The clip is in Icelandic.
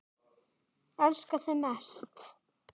Elska þig mest.